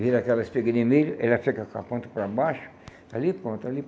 vira aquela espiga de milho, ela fica com a ponta para baixo, ali e pronto.